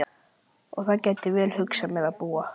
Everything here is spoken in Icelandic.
Og þar gæti ég vel hugsað mér að búa.